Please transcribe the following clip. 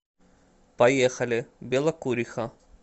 поехали белокуриха